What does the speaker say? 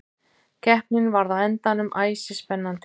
Keppnin varð á endanum æsispennandi.